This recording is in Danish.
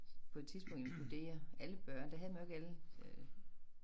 På et tidspunkt inkludere alle børn der havde man jo ikke alle øh